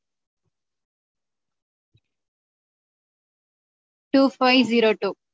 Two five zero two